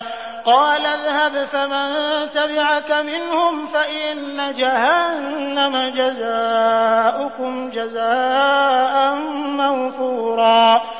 قَالَ اذْهَبْ فَمَن تَبِعَكَ مِنْهُمْ فَإِنَّ جَهَنَّمَ جَزَاؤُكُمْ جَزَاءً مَّوْفُورًا